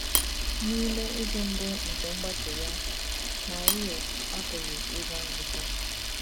N’ime izu mbụ nke mgbake ya, Marie apụghị ịga nzukọ.